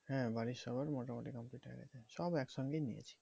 হ্যাঁ বাড়ির সবারই মোটামুটি complete হয়ে গেছে। সব একসঙ্গেই নিয়েছি।